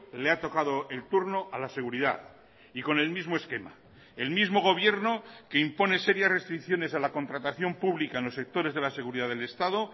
le ha tocado el turno a la seguridad y con el mismo esquema el mismo gobierno que impone serias restricciones a la contratación pública en los sectores de la seguridad del estado